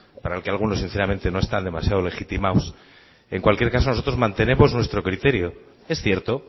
para el que algunos sinceramente no está demasiado legitimados en cualquiera caso nosotros mantenemos nuestro criterio es cierto